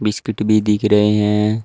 Biscuit भी दिख रहे हैं।